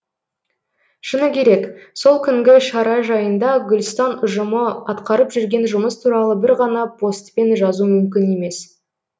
шыны керек сол күнгі шара жайында гүлстан ұжымы атқарып жүрген жұмыс туралы бір ғана постпен жазу мүмкін емес